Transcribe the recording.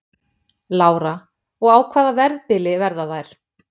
Lára: Og á hvaða verðbili verða þær?